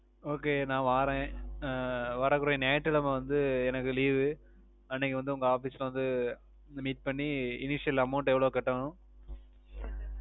Okay நா வாறேன் அஹ் வரக்கூடிய ஞாயிட்டுகிழம வந்து எனக்கு Leave வு அன்னைக்கு வந்து உங்க Office ல வந்து Meet பண்ணி Initial Amount எவ்வளோ கட்டனும்